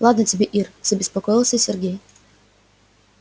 ладно тебе ир забеспокоился сергей